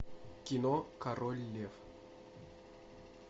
кино король лев